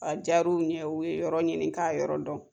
Ajara u ye u ye yɔrɔ ɲini k'a yɔrɔ dɔn.